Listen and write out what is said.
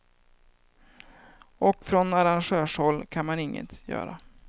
Och från arrangörshåll kan man inget göra.